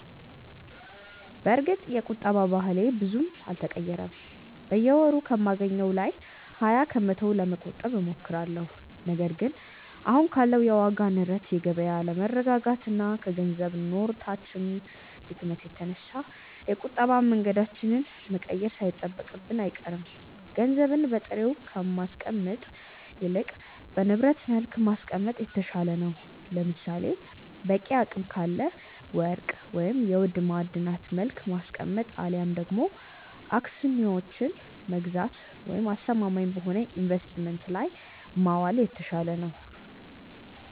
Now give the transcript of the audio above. በእርግጥ የቁጠባ ባህሌ ብዙም አልተቀየረም። በየወሩ ከማገኘው ላይ ሀያ ከመቶውን ለመቆጠብ እሞክራለሁ። ነገር ግን አሁን ካለው የዋጋ ንረት፣ የገበያ አለመረጋጋት እና ከ ገንዘብ ኖታችን ድክመት የተነሳ የቁጠባ መንገዳችንን መቀየር ሳይጠበቅብን አይቀርም። ገንዘብን በጥሬው ከማስቀመጥ ይልቅ በንብረት መልክ ማስቀመጥ የተሻለ ነው። ለምሳሌ፦ በቂ አቅም ካለ ወርቅ፤ ወይም በውድ ማዕድናት መልክ ማስቀመጥ አልያም ደግሞ አክስዮኖችን መግዛት ወይም አስተማማኝ በሆነ ኢንቨስትመንት ላይ ማዋል የተሻለ ነው።